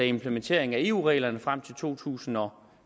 implementeringen af eu reglerne frem til to tusind og